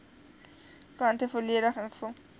kante volledig ingevul